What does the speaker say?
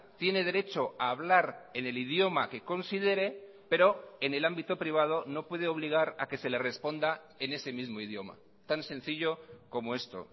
tiene derecho a hablar en el idioma que considere pero en el ámbito privado no puede obligar a que se le responda en ese mismo idioma tan sencillo como esto